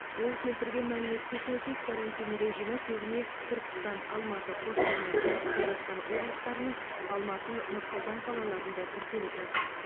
ол келтірген мәліметке сәйкес карантин режимі көбіне түркістан алматы қостанай шығыс қазақстан облыстары мен алматы нұр сұлтан қалаларында тіркеліп жатыр